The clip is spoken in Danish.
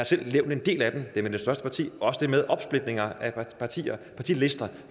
selv nævnt en del af den det med det største parti og det med opsplitninger af partilister